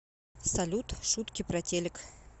салют шутки про телек